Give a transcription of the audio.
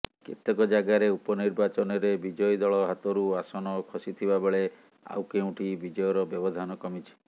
କେତେକ ଜାଗାରେ ଉପନିର୍ବାଚନରେ ବିଜୟୀ ଦଳ ହାତରୁ ଆସନ ଖସିଥିବାବେଳେ ଆଉ କେଉଁଠି ବିଜୟର ବ୍ୟବଧାନ କମିଛି